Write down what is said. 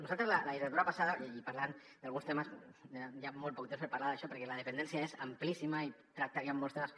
nosaltres la legislatura passada i parlant d’alguns temes hi ha molt poc temps per parlar d’això perquè la dependència és amplíssima i tractaríem molts temes